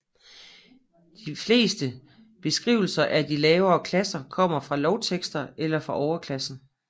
De fleste beskrivelser af de lavere klasser kommer fra lovtekster eller fra overklassen